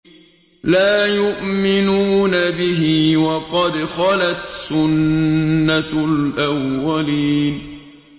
لَا يُؤْمِنُونَ بِهِ ۖ وَقَدْ خَلَتْ سُنَّةُ الْأَوَّلِينَ